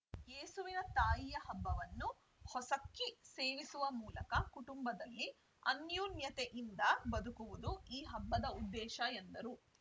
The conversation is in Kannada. ಯೇಸುವಿನ ತಾಯಿಯ ಹಬ್ಬವನ್ನು ಹೊಸಕ್ಕಿ ಸೇವಿಸುವ ಮೂಲಕ ಕುಟುಂಬದಲ್ಲಿ ಅನ್ಯೊನ್ಯತೆಯಿಂದ ಬದುಕುವುದು ಈ ಹಬ್ಬದ ಉದ್ದೇಶ ಎಂದರು